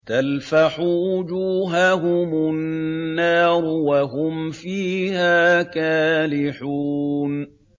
تَلْفَحُ وُجُوهَهُمُ النَّارُ وَهُمْ فِيهَا كَالِحُونَ